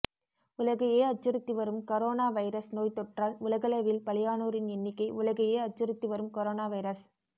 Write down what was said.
உலகையே அச்சுறுத்தி வரும் கரோனா வைரஸ் நோய்த் தொற்றால் உலகளவில் பலியானோரின் எண்ணிக்கை உலகையே அச்சுறுத்தி வரும் கரோனா வைரஸ்